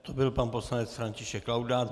To byl pan poslanec František Laudát.